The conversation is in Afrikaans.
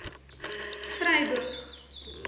vryburg